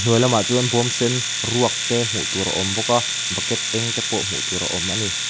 hnuai lamah chuan bawm sen ruak te hmuh tur a aw bawk a bucket eng te pawh hmuh tur a awm a ni.